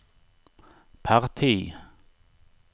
parti